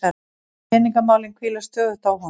Peningamálin hvíla stöðugt á honum.